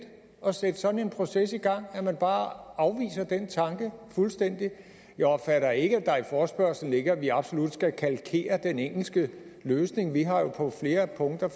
at sætte sådan en proces i gang at man bare afviser den tanke fuldstændig jeg opfatter ikke at der i forespørgslen ligger at vi absolut skal kalkere den engelske løsning vi har jo på flere punkter